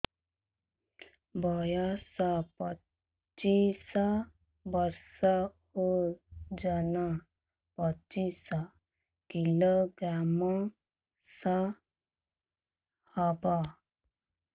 ବୟସ ପଚିଶ ବର୍ଷ ଓଜନ ପଚିଶ କିଲୋଗ୍ରାମସ ହବ